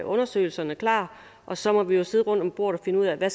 undersøgelserne klar og så må vi jo sidde rundt om bordet og finde ud af hvad